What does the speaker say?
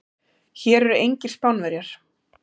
Hér eru engir Spánverjar.